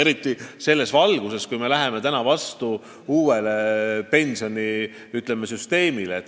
Eriti selles valguses, et me läheme vastu uuele pensionisüsteemile.